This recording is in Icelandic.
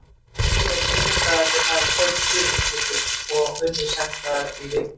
Að venju eru vinnudagarnir þar tólf klukkustundir og unnið sex daga í viku.